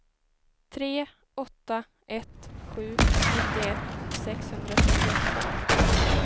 tre åtta ett sju nittioett sexhundratrettioåtta